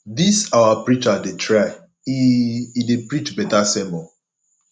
dis our preacher dey try e e dey preach beta sermon